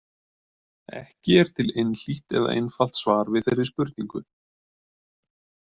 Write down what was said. Ekki er til einhlítt eða einfalt svar við þeirri spurningu.